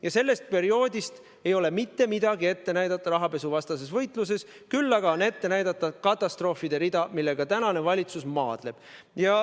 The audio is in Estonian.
Ja sellest perioodist ei ole mitte midagi ette näidata rahapesuvastases võitluses, küll aga on ette näidata katastroofide rida, millega tänane valitsus maadleb.